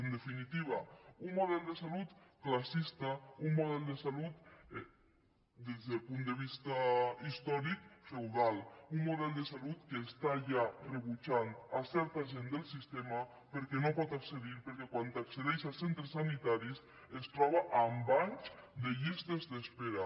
en definitiva un model de salut classista un model de salut des del punt de vista històric feudal un model de salut que està ja rebutjant certa gent del sistema perquè no hi pot accedir perquè quan accedeix als centres sanitaris es troba amb anys de llistes d’espera